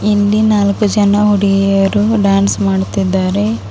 ಇಲ್ಲಿ ನಾಲ್ಕು ಜನ ಹುಡುಗಿಯರು ಡ್ಯಾನ್ಸ್ ಮಾಡುತ್ತಿದ್ದಾರೆ.